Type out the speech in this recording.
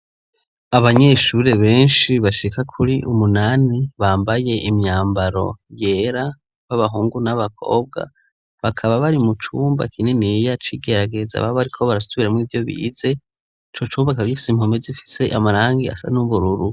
Abanyeshuri benshi bashika kuri umunani bambaye imyambaro yera, b'abahungu n'abakobwa ,bakaba bari mu cumba kininiya c'igerageza baba ariko barasubira mw'ivyo bize, ico cumba kikaba gifise impome zifise amarangi asa n'ubururu.